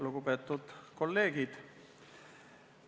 Lugupeetud kolleegid!